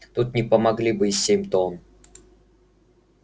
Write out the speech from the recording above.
тут не помогли бы и семь тонн